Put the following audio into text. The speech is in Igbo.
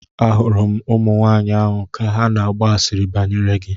Ahụrụ m ụmụnwaanyị ahụ ka ha na-agba asịrị banyere gị.